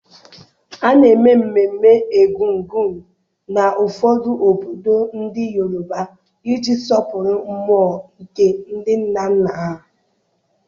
A na-eme mmemme Egungun na ụfọdụ obodo ndị Yoruba iji sọpụrụ mmụọ nke ndị nna nna ha.